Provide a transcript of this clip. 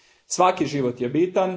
Svaki život je bitan.